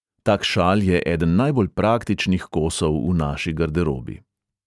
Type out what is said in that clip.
Tak šal je eden najbolj praktičnih kosov v naši garderobi.